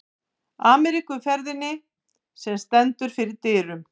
Ameríkuferðinni, sem stendur fyrir dyrum.